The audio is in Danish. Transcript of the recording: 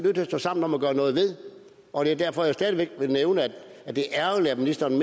at stå sammen om at gøre noget ved og det er derfor jeg igen vil nævne at det er ærgerligt at ministeren i